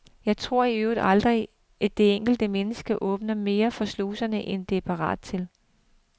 Jeg tror i øvrigt aldrig, det enkelte menneske åbner mere for sluserne, end det er parat til.